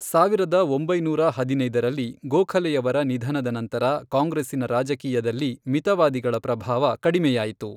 ಸಾವಿರದ ಒಂಬೈನೂರ ಹದಿನೈದರಲ್ಲಿ, ಗೋಖಲೆಯವರ ನಿಧನದ ನಂತರ, ಕಾಂಗ್ರೆಸ್ಸಿನ ರಾಜಕೀಯದಲ್ಲಿ ಮಿತವಾದಿಗಳ ಪ್ರಭಾವ ಕಡಿಮೆಯಾಯಿತು.